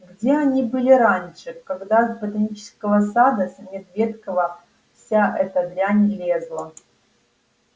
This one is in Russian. где они были раньше когда с ботанического сада с медведкова вся эта дрянь лезла